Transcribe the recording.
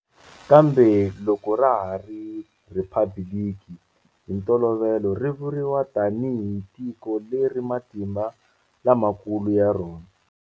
Kambe loko ra ha ri 'rhiphabiliki'hi ntolovelo ri vuriwa tanihi tiko leri matimba la makulu ya rona.